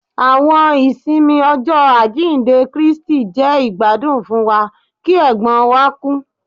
Àwọn ìsinmi Ọjọ ajinde Kristi jẹ igbadun fún wa ki ègbón wa ku